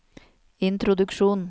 introduksjon